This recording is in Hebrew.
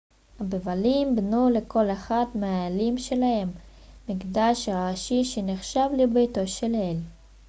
הבבלים בנו לכל אחד מהאלים שלהם מקדש ראשי שנחשב לביתו של האל